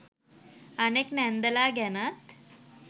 අනෙක් නැන්දලා ගැනත්